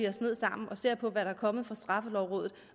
os ned sammen og ser på hvad der er kommet fra straffelovrådet